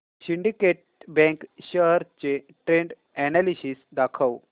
Syndicate Bank shares चे trend analysis दाखव